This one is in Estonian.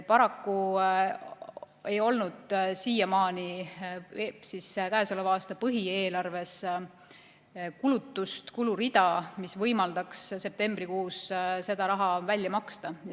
Paraku ei olnud siiamaani käesoleva aasta põhieelarves kulurida, mis võimaldaks septembrikuus selle raha välja maksta.